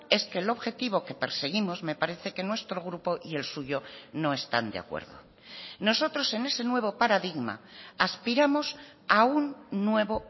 es que el objetivo que perseguimos me parece que nuestro grupo y el suyo no están de acuerdo nosotros en ese nuevo paradigma aspiramos a un nuevo